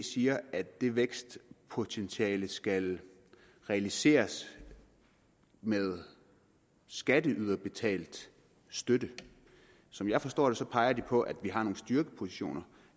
siger at det vækstpotentiale skal realiseres med skatteyderbetalt støtte som jeg forstår det peger de på at vi har nogle styrkepositioner